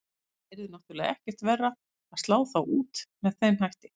Það yrði náttúrulega ekkert verra að slá þá út með þeim hætti.